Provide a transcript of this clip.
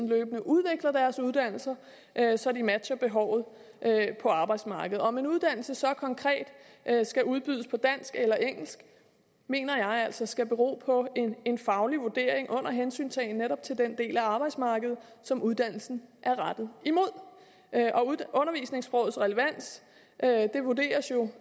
løbende udvikler deres uddannelser så de matcher behovet på arbejdsmarkedet om en uddannelse så konkret skal udbydes på dansk eller engelsk mener jeg altså skal bero på en faglig vurdering under hensyntagen netop til den del af arbejdsmarkedet som uddannelsen er rettet imod og undervisningssprogets relevans vurderes jo